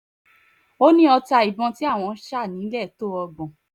ó ní ọta ìbọn tí àwọ́n sá nílẹ̀ tó ọgbọ̀n